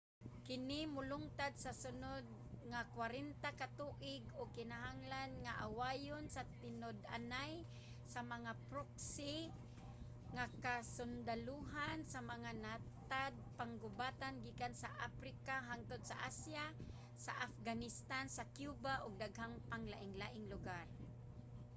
kini molungtad sa sunod nga 40 ka tuig ug kinahanglan nga awayon sa tinud-anay sa mga proxy nga kasundalohan sa mga natad-panggubatan gikan sa aprika hangtod sa asya sa afghanistan sa cuba ug daghang pang laing lugar